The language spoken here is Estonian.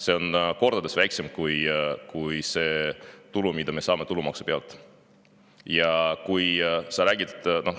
See on kordades väiksem kui see tulu, mida me saame tulumaksu pealt.